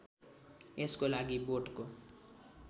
यसको लागि बोटको